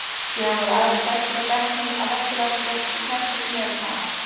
Síðan voru aðrar stelpur í bekknum af Vesturvallagötu sem héldu sig meira saman.